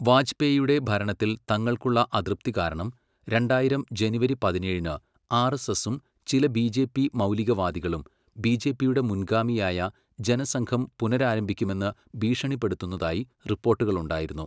വാജ്പേയിയുടെ ഭരണത്തിൽ തങ്ങൾക്കുള്ള അതൃപ്തി കാരണം രണ്ടായിരം ജനുവരി പതിനേഴിന് ആർഎസ്എസും ചില ബിജെപി മൗലികവാദികളും ബിജെപിയുടെ മുൻഗാമിയായ ജനസംഘം പുനരാരംഭിക്കുമെന്ന് ഭീഷണിപ്പെടുത്തുന്നതായി റിപ്പോർട്ടുകൾ ഉണ്ടായിരുന്നു.